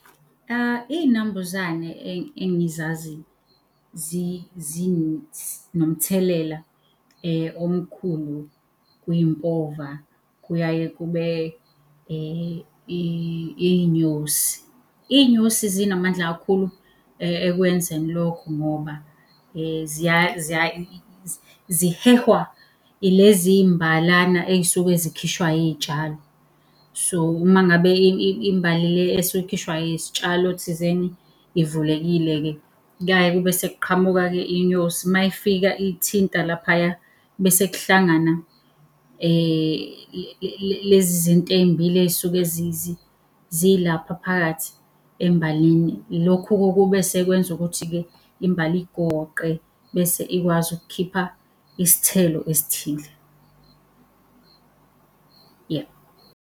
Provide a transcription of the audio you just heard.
Iy'nambuzane engizazi zinomthelela omkhulu kwimpova kuyaye kube iy'nyosi. Iy'nyosi zinamandla kakhulu ekwenzeni lokho ngoba zihehwa ilezi iy'mbalana ey'suke zikhishwa iy'tshalo. So, umangabe imbali le esuke ikhishwa yisitshalo thizeni ivulekile-ke kuyaye kube sekuqhamuka-ke inyosi. Mayifika iyithinta laphaya, bese kuhlangana lezi zinto ey'mbili ey'suke zilapha phakathi embalini. Ilokhu-ke okube sekwenza ukuthi-ke imbali igoqe bese ikwazi ukukhipha isithelo esithile. Yebo.